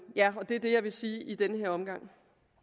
ja det er det jeg vil sige i den her omgang